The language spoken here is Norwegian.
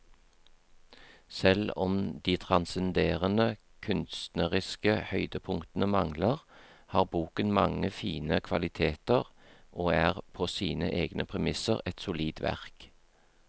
Selv om de transcenderende kunstneriske høydepunktene mangler, har boken mange fine kvaliteter og er på sine egne premisser et solid verk.